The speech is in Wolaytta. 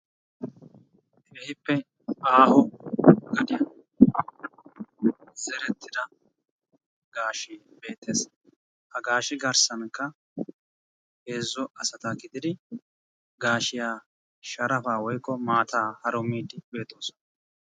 Keehippe aaho gadiyan zerettida gaashee beettees. Ha gaashe garssankka heezzu asata gididi gaashiya sharafaa woykko maataa harumiiddi beettoosona.